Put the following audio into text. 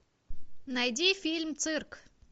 найди фильм цирк